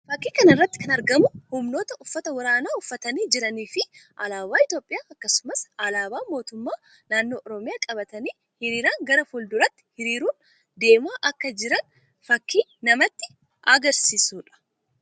Fakkii kana irratti kan argamu humnoota uffata waraanaa uffatanii jiranii fi alaabaa Itoophiyaa akkasumas alaabaa mootummaa naannoo Oromiyaa qabatanii hiriiraan gara fuul duraatti hiriiruun deemaa akka jiran fakkii namatti agarsiisuu dha.